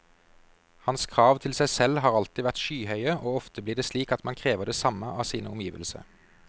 Hans krav til seg selv har alltid vært skyhøye, og ofte blir det slik at man krever det samme av sine omgivelser.